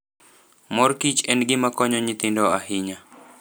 Mor kich en gima konyo nyithindo ahinya.